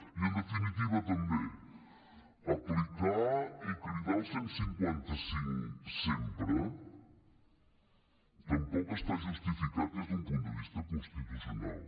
i en definitiva també aplicar i cridar al cent i cinquanta cinc sempre tampoc està justificat des d’un punt de vista constitucional